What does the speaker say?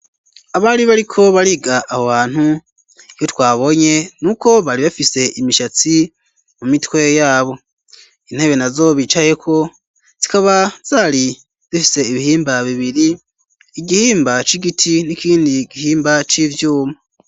Abari bariko bariga abo bantu, ivyo twabonye n'uko bari bafise imishatsi mu mitwe yabo ,intebe nazo bicaye ko zikaba zari zifise ibihimba bibiri, igihimba cigiti n'ikindi gihimba c'ivyuma.